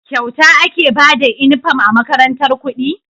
Kyauta ake Bada inufom a makarantar kudi